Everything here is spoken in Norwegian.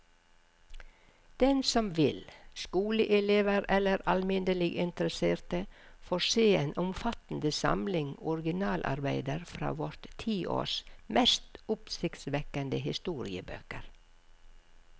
Den som vil, skoleelever eller alminnelig interesserte, får se en omfattende samling originalarbeider fra vårt tiårs mest oppsiktsvekkende historiebøker.